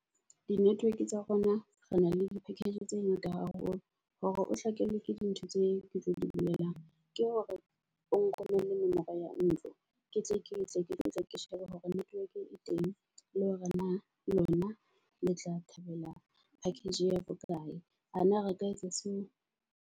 Di-network tsa rona re na le di-package tse ngata haholo hore o hlakelwe ke di ntho tse ke tlo di bolelang. Ke hore o nromelle nomoro ya ntlo. Ke tle ke tle ke shebe hore network e teng le hore na lona le tla thabela package ya bokae. Ana re ka etsa seo?